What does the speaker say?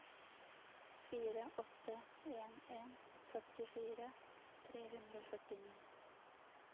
fire åtte en en førtifire tre hundre og førtini